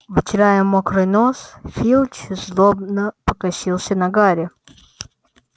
вытирая мокрый нос филч злобно покосился на гарри